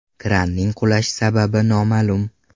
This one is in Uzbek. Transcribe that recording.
Kranning qulash sababi noma’lum.